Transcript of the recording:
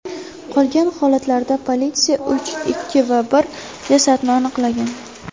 Qolgan holatlarda politsiya uch, ikki va bir jasadni aniqlagan.